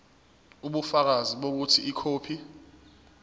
ubufakazi bokuthi ikhophi